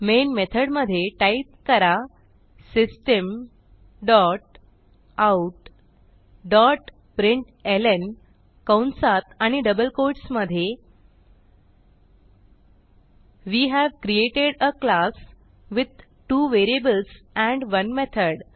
main method मध्ये type करा system dot out dot println कंसात आणि डबल कोट्स मधे we have created a class with two variables and 1 method